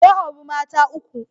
Ya auri mata uku.